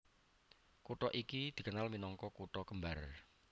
Kutha iki dikenal minangka Kutha kembar